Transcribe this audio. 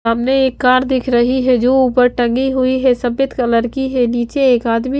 सामने एक कार दिख रही है जो ऊपर टंगी हुई है सफेद कलर की है नीचे एक आदमी--